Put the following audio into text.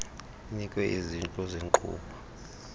inikwe izintlu zeenkqubo